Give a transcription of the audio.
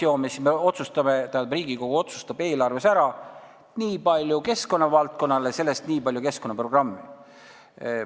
Kui me selle lahti seome, siis Riigikogu otsustab, et eelarvest läheb nii palju keskkonnavaldkonnale ja sellest nii palju keskkonnaprogrammile.